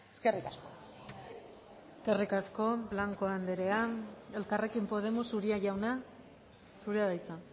eskerrik asko eskerrik asko blanco andrea elkarrekin podemos uria jauna zurea da hitza